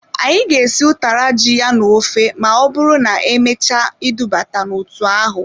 Anyị ga-esi utara ji ya na-ofe ma ọbụrụ na-emechaa idubata n'otu ahụ.